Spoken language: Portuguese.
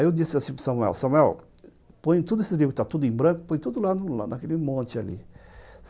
Aí eu disse assim para o Samuel, Samuel, põe todos esses livros que estão em branco, põe tudo lá naquele monte ali.